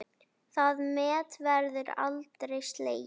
Það met verður aldrei slegið.